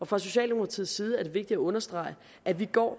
fra socialdemokratiets side er det vigtigt at understrege at vi går